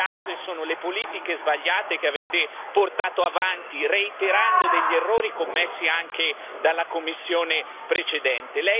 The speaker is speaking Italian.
Le cause sono le politiche sbagliate che avete portato avanti, reiterando errori commessi anche dalla Commissione precedente.